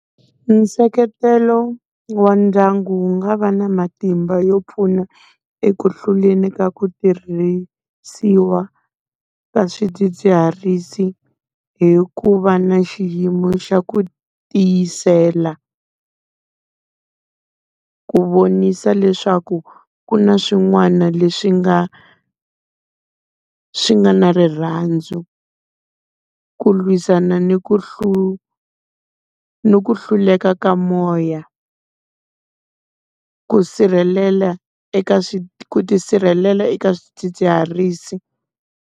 Nseketelo wa ndyangu wu nga va na matimba yo pfuna eku hluleni ka ku tirhisiwa ka swidzidziharisi, hi ku va na xiyimo xa ku tiyisela. Ku vonisa leswaku ku na swin'wana leswi nga, swi nga na rirhandzu. Ku lwisana ni ku ni ku hluleka ka moya. Ku sirhelela eka ku ti sirhelela eka swidzidziharisi.